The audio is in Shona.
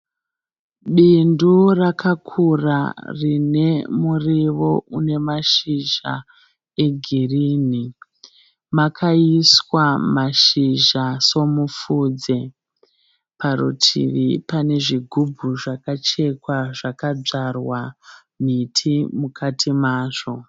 Bindu rakakura rine muriwo une nashizha egirini. makaiswa mashizha somupfudze. Parutivi pane zvigubhu zvakachekwa zvakadzwarwa miti mukati mazvo.